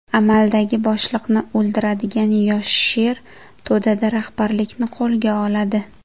Amaldagi boshliqni o‘ldiradigan yosh sher to‘dada rahbarlikni qo‘lga oladi.